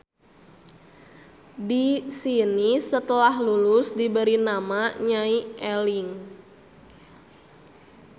Di sini setelah lulus diberi nama Nyai Eling.